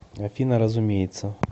афина разумеется